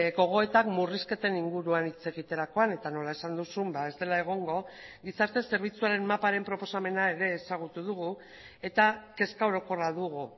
gogoetak murrizketen inguruan hitz egiterakoan eta nola esan duzun ez dela egongo gizarte zerbitzuaren maparen proposamena ere ezagutu dugu eta kezka orokorra dugu